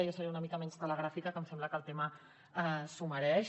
jo seré una mica menys telegràfica que em sembla que el tema s’ho mereix